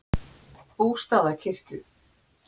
Bústaðakirkju